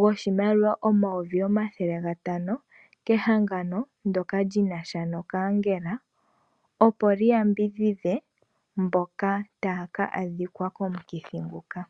goshimaliwa omayovi omathele gatano kehangano ndoka linasha no kaangela opo li yambidhidhe mboka tayaka adhikwa komukithi nguka.